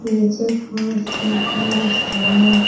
नीचे फर्श पे टाइल्स है।